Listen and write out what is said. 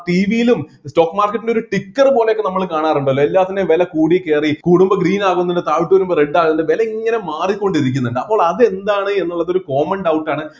TV യിലും stock market ൻ്റെ ഒരു ticker പോലെയൊക്കെ നമ്മള് കാണാറുണ്ടല്ലേ എല്ലാത്തിന്റെയും വില കൂടി കേറി കൂടുമ്പോ green ആവുന്നുണ്ട് താഴോട്ട് വരുമ്പോ red ആവുന്ന് വില ഇങ്ങനെ മാറികൊണ്ടിരിക്കുന്നുണ്ട് അപ്പോൾ അത് എന്താണെന്ന് ഉള്ളത് ഒരു common doubt ആണ്